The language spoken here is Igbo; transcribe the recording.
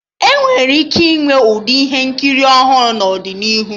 Enwere ike ịnwe Ụdị ihe nkiri ọhụrụ n'ọdịnihu